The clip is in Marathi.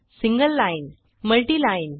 single line multi line